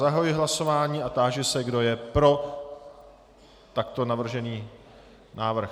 Zahajuji hlasování a táži se, kdo je pro takto navržený návrh.